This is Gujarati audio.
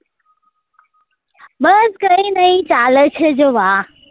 કઈ નહિ ચાલે છે જવા